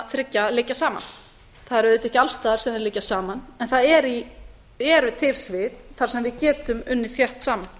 þriggja liggja saman það er auðvitað ekki alls staðar sem þeir liggja saman en það eru til svið þar sem við getum unnið þétt saman